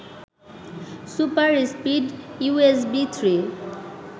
super speed USB three